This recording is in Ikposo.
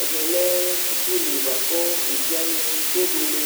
Ɛvɛ lɛ suku li boa kʋ evidze wani kebuele